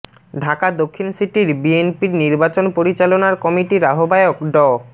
ঢাকা দক্ষিণ সিটির বিএনপির নির্বাচন পরিচালনার কমিটির আহ্বায়ক ড